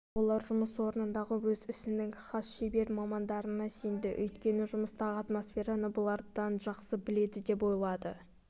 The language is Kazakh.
алайда олар жұмыс орнындағы өз ісінің хас шебер мамандарына сенді өйткені жұмыстағы атмосфераны бұлардан жақсы біледі деп ойлады